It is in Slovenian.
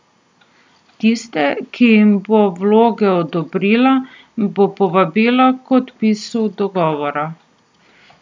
Tiste, ki jim bo vloge odobrila, bo povabila k podpisu dogovora.